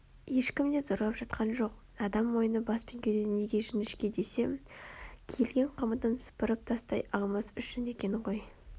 ешкім де зорлап жатқан жоқ адам мойны бас пен кеудеден неге жіңішке десем киілген қамытын сыпырып тастай алмас үшін екен ғой